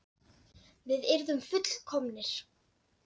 Við yrðum full- komnir.